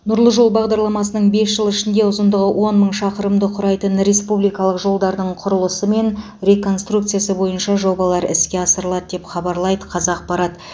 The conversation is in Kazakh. нұрлы жол бағдарламасының бес жылы ішінде ұзындығы он мың шақырымды құрайтын республикалық жолдардың құрылысы мен реконструкциясы бойынша жобалар іске асырылады деп хабарлайды қазақпарат